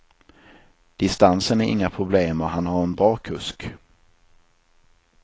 Distansen är inga problem och han har en bra kusk.